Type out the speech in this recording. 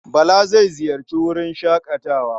Bala zai ziyarci wurin shaƙatawa.